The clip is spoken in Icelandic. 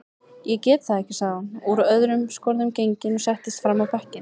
Ég get það ekki, sagði hún öll úr skorðum gengin og settist fram á bekkinn.